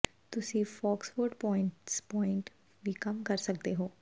ਤੁਸੀਂ Foxwoods points point ਵੀ ਕਮ ਕਰ ਸਕਦੇ ਹੋ